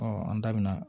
an da bɛna